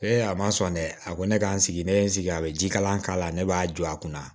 a ma sɔn dɛ a ko ne ka n sigi ne ye n sigi a bɛ jikalan k'a la ne b'a jɔ a kunna